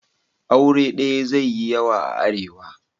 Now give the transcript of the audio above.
Aure daya zai yi yawa a Arewa.